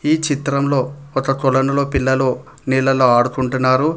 ఈ చిత్రంలో ఒక కొలనులో పిల్లలు ఆడుకుంటున్నారు.